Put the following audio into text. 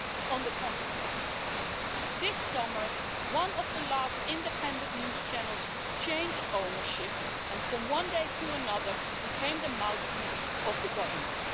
On the contrary, this summer, one of the last independent news channels changed ownership and, from one day to another, became the mouthpiece of the government.